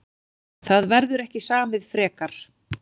Það verður ekki samið frekar